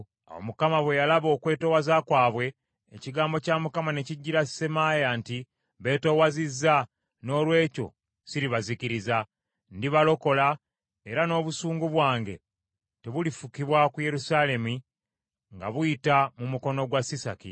Awo Mukama bwe yalaba okwetoowaza kwabwe, ekigambo kya Mukama ne kijjira Semaaya nti, “Beetoowazizza noolwekyo siribazikiriza. Ndibalokola, era n’obusungu bwange tebulifukibwa ku Yerusaalemi nga buyita mu mukono gwa Sisaki.